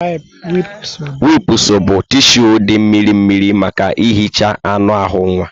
Wipụsụ bụ tishụ dị mmirimmiri maka ihicha anụ ahụ nwa.